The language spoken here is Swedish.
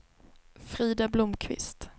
Frida Blomqvist